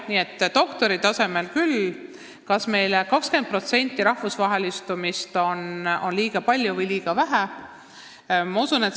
Kas 20% rahvusvahelistumist on liiga palju või liiga vähe?